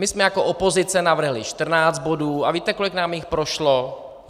My jsme jako opozice navrhli 14 bodů a víte, kolik nám jich prošlo?